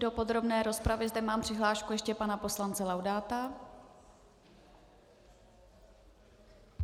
Do podrobné rozpravy zde mám přihlášku ještě pana poslance Laudáta.